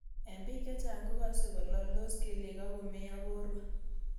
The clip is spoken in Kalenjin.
Eng' pik chechang' kokase kolaldos kelyek ak komeiyo porwek